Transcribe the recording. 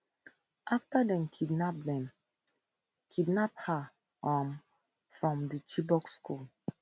afta dem kidnap dem kidnap her um from di chibok school